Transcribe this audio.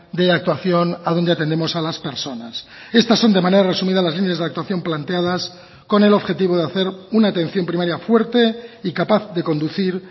de actuación a donde atendemos a las personas estas son de manera resumida las líneas de actuación planteadas con el objetivo de hacer una atención primaria fuerte y capaz de conducir